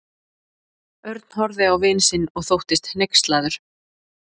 Örn horfði á vin sinn og þóttist hneykslaður.